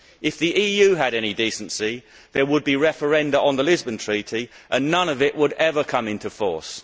If the EU had any decency, there would be referenda on the Lisbon Treaty and none of it would ever come into force.